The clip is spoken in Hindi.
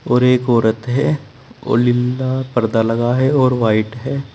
और एक औरत है और लीला पर्दा लगा है और व्हाइट है।